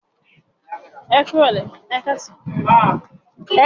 Njẹ awọn awakọ yọọ sán owo-orí si ijọba?